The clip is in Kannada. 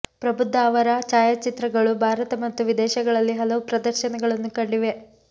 ಪ್ರಬುದ್ಧ ಅವರ ಛಾಯಾಚಿತ್ರಗಳು ಭಾರತ ಮತ್ತು ವಿದೇಶಗಳಲ್ಲಿ ಹಲವು ಪ್ರದರ್ಶನಗಳನ್ನು ಕಂಡಿವೆ